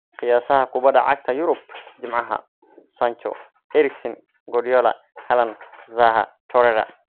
Qiyaasaha Kubadda Cagta Yurub Jimcaha: Sancho, Eriksen, Guardiola, Haaland, Zaha, Torreira.